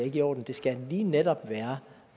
i orden det skal lige netop være